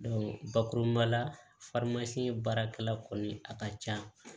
bakuruba la baarakɛla kɔni a ka ca